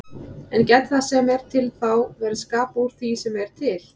En gæti það sem er til þá verið skapað úr því sem er til?